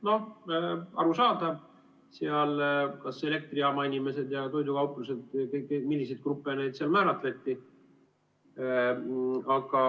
Noh, arusaadav, seal olid elektrijaama inimesed ja toidukaupluste töötajad, milliseid gruppe seal määratleti.